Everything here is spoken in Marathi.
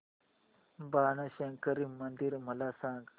बाणशंकरी मंदिर मला सांग